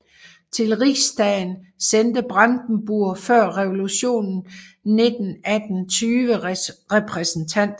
Till Rigsdagen sendte Brandenburg før revolutionen 1918 20 repræsentanter